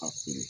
A feere